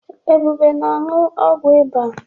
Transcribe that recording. Ebube na-aṅụ ọgwụ ịba.